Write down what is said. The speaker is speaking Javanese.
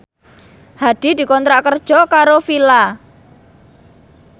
Hadi dikontrak kerja karo Fila